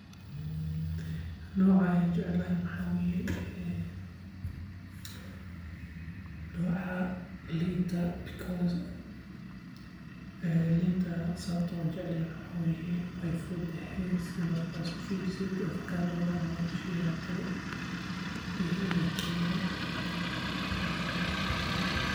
Noca ayan jeclahay maxa weye ee noca linta because linta sababta an ujeclahay waxa weye way way fududahay si marka isku firisid afakaadoda ama sheyaha kale iyo dhedhenkeeda